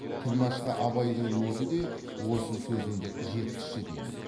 тілмәшқа абайдың өзі де осы сөзімді жеткізші деген